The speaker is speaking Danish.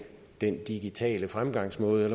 den digitale fremgangsmåde